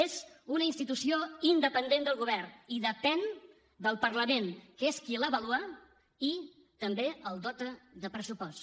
és una institució independent del govern i depèn del parlament que és qui l’avalua i també la dota de pressupost